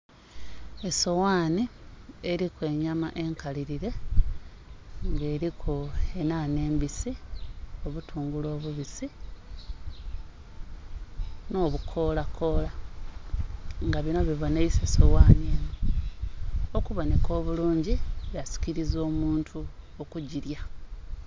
Esoghaanhi eliku enyama enkalilile, nga eliku enhanha embisi, obutungulu obubisi nh'obukoolakoola nga binho bibonheisa soghaanhi enho, okubonheka obulungi ya sikiliza omuntu okugilya.